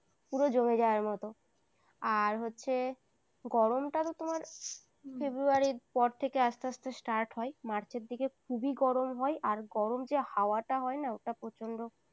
পুরো জমে যাওয়ার মত আর হচ্ছে গরম তা তো তোমার february র পর থেকে আসতে আসতে start হয় march র দিকে খুবই গরম হয় আর গরম যে হাওয়াটা হয় না ওটা প্রচন্ড